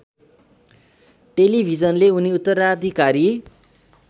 टेलिभिजनले उनी उत्तराधिकारी